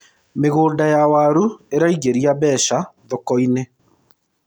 mĩgũnda ya waru iraingiria mbeca thoko-inĩ